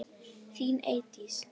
Þín Eydís.